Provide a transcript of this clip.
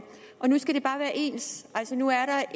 ens nu er